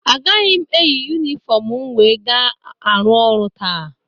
Agaghị m eyi yunifọmu m wee ga-arụ ọrụ taa.